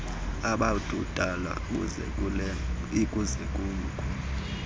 ababudala busukela lkusuku